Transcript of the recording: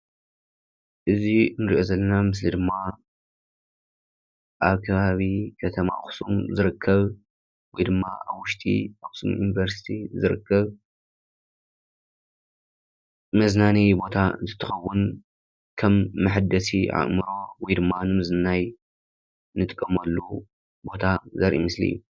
እዚ እንሪኦ ዘለና ምስሊ ድማ ኣብ ከባቢ ከተማ ኣክሱም ዝርከብ ወይድማ ኣብ ውሽጢ ኣክሱም ዩኒቨርሲቲ ዝርከብ መዝናነዪ ቦታ እንትትኸውን ከም መሐደሲ ኣእምሮ ወይድማ ንምዝንናይ ንጥቀመሉ ቦታ ዘርኢ ምስሊ እዩ::